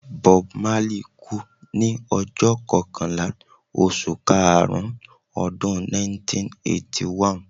Bob Marley kú ní ọjọ́ kọkànlá oṣù karùn-ún Ọdún 1981.